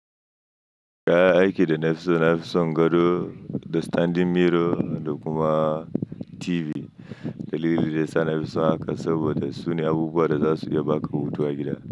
Kayan aiki da nafi so, nafi son gado, da standing mirror da kuma TV. Dalilin da yasa nafi so haka saboda sune abubuwa da zasu iya baka hutu a gida.